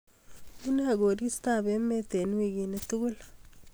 Unee koristob emet eng weekini tugul